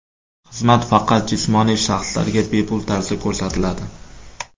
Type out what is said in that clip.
Xizmat faqat jismoniy shaxslarga bepul tarzda ko‘rsatiladi.